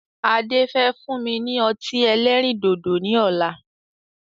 Ade. Fẹ́ fún mi ní ọtí ẹlẹ́rìndòdò ni ọ̀la